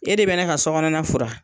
E de be ne ka sɔgɔnɔna fura